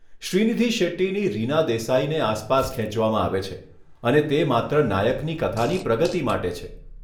શ્રીનિધિ શેટ્ટીની રીના દેસાઇને આસપાસ ખેંચવામાં આવે છે અને તે માત્ર નાયકની કથાની પ્રગતિ માટે છે.